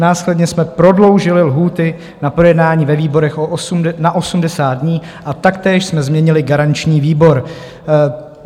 Následně jsme prodloužili lhůty na projednání ve výborech na 80 dní a taktéž jsme změnili garanční výbor.